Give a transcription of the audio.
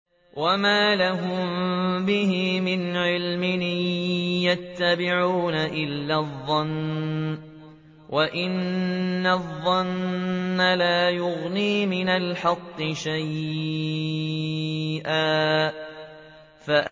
وَمَا لَهُم بِهِ مِنْ عِلْمٍ ۖ إِن يَتَّبِعُونَ إِلَّا الظَّنَّ ۖ وَإِنَّ الظَّنَّ لَا يُغْنِي مِنَ الْحَقِّ شَيْئًا